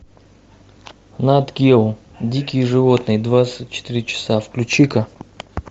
нат гео дикие животные двадцать четыре часа включи ка